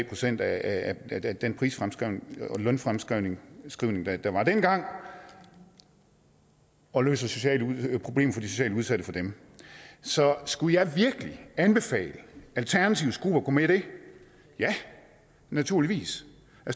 procent af af den pris og lønfremskrivning der var dengang og løser sociale problemer for de socialt udsatte for dem så skulle jeg virkelig anbefale alternativets gruppe at gå med i det ja naturligvis